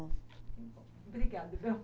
Que bom. Obrigada, Bel.